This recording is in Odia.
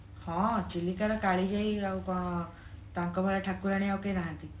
ହଁ ଚିଲିକାର କାଳିଜାଇ ଆଉ କଣ ତାଙ୍କ ଭଳିଆ ଠାକୁରାଣୀ ଆଉ କେହି ନାହାନ୍ତି